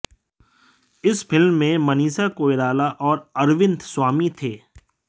इस फिल्म में मनीषा कोईराला और अरविंद स्वामी थे